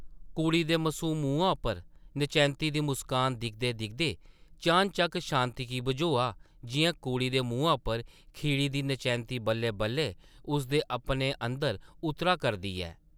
कुड़ी दे मसूम मुहां उप्पर नचैंत्ती दी मुस्कान दिखदे-दिखदे चान-चक्क शांति गी बझोआ जिʼयां कुड़ी दे मुहैं उप्पर खिड़ी दी नचैंती बल्लै-बल्लै उस दे अपने अंदर उतरा करदी ऐ ।